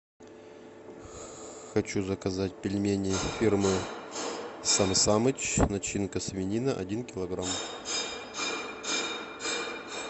хочу заказать пельмени фирмы сам самыч начинка свинина один килограмм